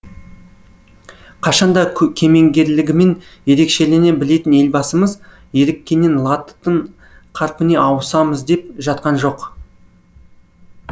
қашанда кемеңгерлігімен ерекшелене білетін елбасымыз еріккеннен латып қарпіне ауысамыз деп жатқан жоқ